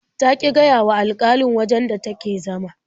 Ta ƙi gaya wa alƙalin wajen da take zama.